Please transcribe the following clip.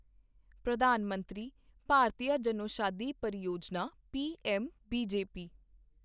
Pradhan Mantri Bharatiya Janaushadhi Pariyojana' PMBJP